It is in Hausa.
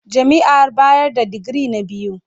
Jami'ar bayar da digiri na biyu.